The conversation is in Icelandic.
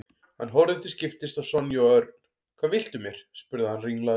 Hann horfði til skiptis á Sonju og Örn. Hvað viltu mér? spurði hann ringlaður.